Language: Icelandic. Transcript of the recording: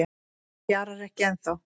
Það fjarar ekki ennþá